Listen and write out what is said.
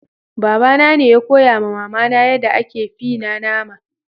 Baba na ne ya koya ma mama na yada ake yin fie na nama.